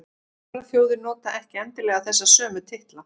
Aðrar þjóðir nota ekki endilega þessa sömu titla.